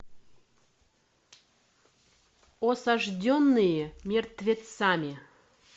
осажденные мертвецами